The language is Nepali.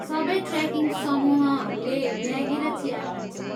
सबै ट्रेकिङ समूहहरूले म्यागी र चिया खान्छन्।